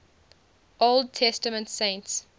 old testament saints